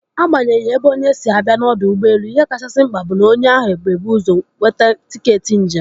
Agbanyeghi ebe onye si abịa n'ọdọ ụgbọelu, ihe kachasị mkpa bụ na onye ahụ ebu ụzọ nweta tiketi njem.